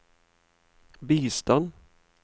bistand